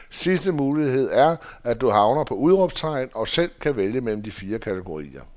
Sidste mulighed er, at du havner på udråbstegn og selv kan vælge mellem de fire kategorier.